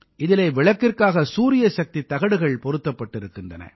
இதிலே விளக்கிற்காக சூரியசக்தித் தகடுகள் பொருத்தப்பட்டிருக்கின்றன